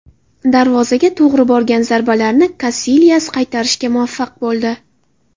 Darvozaga to‘g‘ri borgan zarbalarni Kasilyas qaytarishga muvaffaq bo‘ldi.